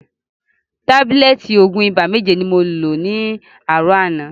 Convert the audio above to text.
Tábílẹ̀tì òògùn ibà méje ni mo lo láàrọ̀ àná.